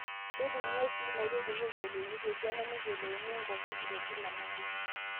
Keitumiyai sii inaoitoi pee eyiolounyeki esiana neyiolouni enkorroki e Kila nabo.